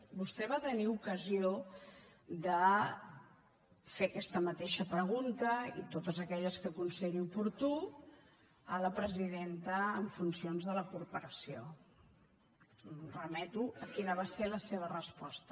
vostè va tenir ocasió de fer aquesta mateixa pregunta i totes aquelles que consideri oportú a la presidenta en funcions de la corporació em remeto a quina va ser la seva resposta